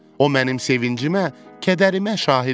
O mənim sevincimə, kədərimə şahid olub.